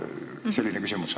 Nii et selline küsimus.